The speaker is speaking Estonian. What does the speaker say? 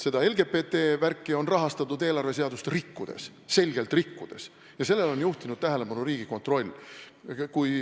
Aga LGBT värki on rahastatud eelarveseadust selgelt rikkudes ja sellele on juhtinud tähelepanu Riigikontroll.